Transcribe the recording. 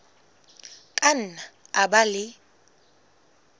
ka nna a ba le